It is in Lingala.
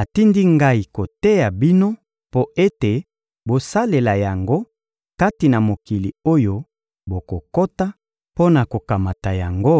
atindi ngai koteya bino mpo ete bosalela yango kati na mokili oyo bokokota mpo na kokamata yango,